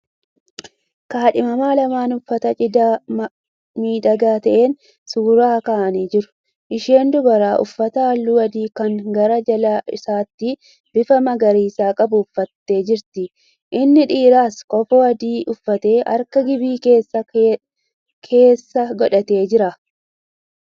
Kaadhimaa lamaan uffata cidhaa miidhagaa ta'een suuraa ka'anii jiran. Isheen dubaraa uffata halluu adii kan gara jala isaatti bifa magariisa qabu uffattee jirti. Inni dheeraas kofoo adii uffatee harka giphii isaa keessa godhatee jira.